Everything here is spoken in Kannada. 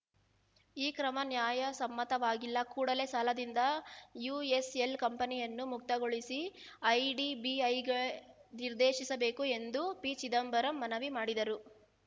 ಈ ಕ್ರಮ ನ್ಯಾಯಸಮ್ಮತವಾಗಿಲ್ಲ ಕೂಡಲೇ ಸಾಲದಿಂದ ಯುಎಸ್‌ಎಲ್‌ ಕಂಪನಿಯನ್ನು ಮುಕ್ತಗೊಳಿಸಲು ಐಡಿಬಿಐಗೆ ನಿರ್ದೇಶಿಸಬೇಕು ಎಂದು ಪಿಚಿದಂಬರಂ ಮನವಿ ಮಾಡಿದರು